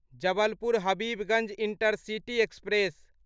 Jabalpur Habibganj intercity express